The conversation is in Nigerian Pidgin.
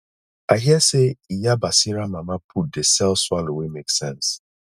i hear sey iya basira mama put dey sell swallow wey make sense